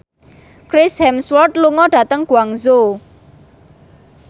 Chris Hemsworth lunga dhateng Guangzhou